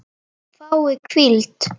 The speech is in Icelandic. Fái hvíld?